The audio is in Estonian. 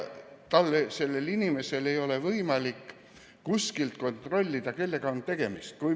Sellel inimesel ei ole võimalik kuskilt kontrollida, kellega on tegemist.